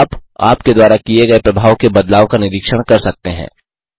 आप आपके द्वारा किये गये प्रभाव के बदलाव का निरीक्षण कर सकते हैं